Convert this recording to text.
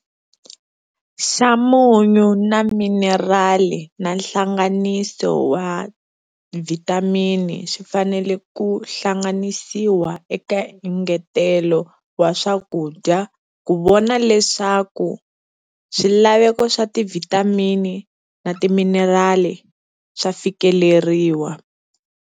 Xa munyu na minirali na nhlanganiso wa vhitamini swi fanele ku hlanganisiwa eka engetelo wa swakudya ku vona leswaku swilaveko swa tivhitamini na timinirali swa fikeleriwa.